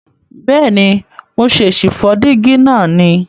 Bèéni, mo ṣè sì fó dígí náà ni